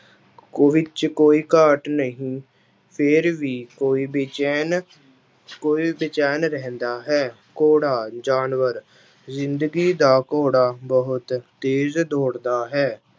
ਵਿੱਚ ਕੋਈ ਘਾਟ ਨਹੀਂ ਫਿਰ ਵੀ ਕੋਈ ਬੇਚੈਨ ਕੋਈ ਬੇਚੈਨ ਰਹਿੰਦਾ ਹੈ, ਘੋੜਾ ਜਾਨਵਰ, ਜ਼ਿੰਦਗੀ ਦਾ ਘੋੜਾ ਬਹੁਤ ਤੇਜ ਦੌੜਦਾ ਹੈ।